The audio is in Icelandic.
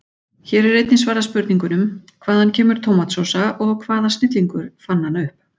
Hér er einnig svarað spurningunum: Hvaðan kemur tómatsósa og hvaða snillingur fann hana upp?